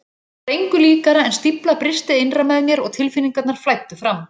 Það var engu líkara en stífla brysti innra með mér og tilfinningarnar flæddu fram.